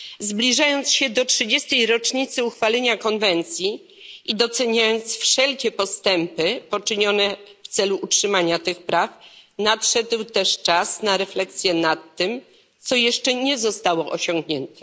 Zbliżając się do trzydziestej rocznicy uchwalenia Konwencji i doceniając wszelkie postępy poczynione w celu utrzymania tych praw, nadszedł też czas na refleksję nad tym, co jeszcze nie zostało osiągnięte.